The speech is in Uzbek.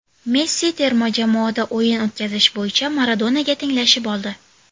Messi terma jamoada o‘yin o‘tkazish bo‘yicha Maradonaga tenglashib oldi.